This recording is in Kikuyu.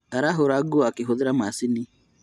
Arahũra nguo akĩhũthĩra macini